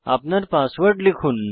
আপনার পাসওয়ার্ড লিখুন